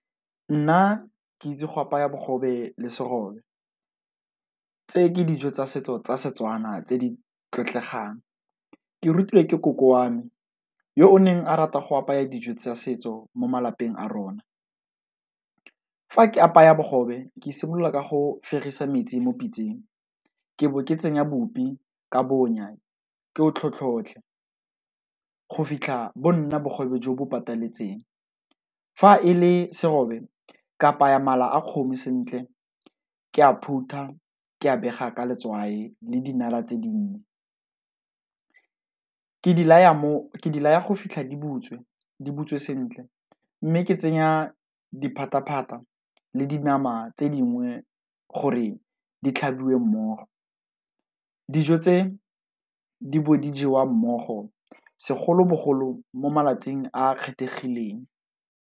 Nna ke itse go apaya bogobe le serobe, tse ke dijo tsa setso tsa Setswana tse di tlotlegang. Ke rutiwe ke koko wa me yo o neng a rata go apaya dijo tsa setso mo malapeng a rona. Fa ke apaya bogobe, ke simolola ka go fegisa metsi mo pitseng, ke bo ke tsenya bopi ka bonya, ke o tlhotlhotlhe go fitlha bo nna bogobe jo bo pataletseng, fa e le serobe, ke apaya mala a kgomo sentle ke a phutha, ke a pega ka letswai le dinala tse di nnye, ke di laya go fitlha di butswe, di butswe sentle mme ke tsenya diphataphata le dinama tse dingwe gore di tlhabiwe mmogo. Dijo tse, di bo di jewa mmogo, segolobogolo mo malatsing a kgethegileng.